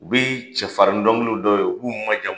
U bɛ cɛfarin dɔnkili da u ye, u b'u majamu.